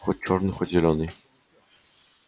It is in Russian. хоть чёрный хоть зелёный